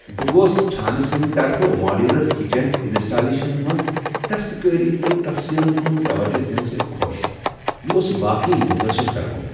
بہٕ گوس چھانہٕ سٕندِ طرفہٕ ماڈیولر کچن انسٹالیشن منٛز دستکٲری تہٕ تفصیلن کن توجہ دنہٕ سۭتۍ خوش۔ یہ اوس واقعی متٲثر کروُن۔